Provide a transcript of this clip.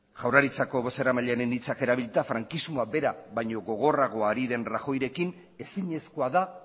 jaurlaritzaren bozeramailearen hitzak erabilita frankismoa bera baino gogorragoa ari den rajoyrekin ezinezkoa da